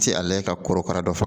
Ti ale ka korokara dɔ fɔ